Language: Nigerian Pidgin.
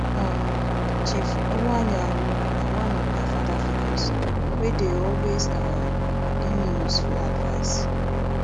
um chief iwuanyanwu na one of my father figures wey dey always um give me useful advice